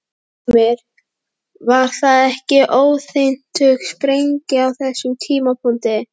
Heimir: Var það ekki óhentug sprengja á þessum tímapunkti?